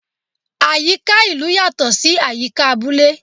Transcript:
Àyíká ìlú yatọ sí àyíká abúlé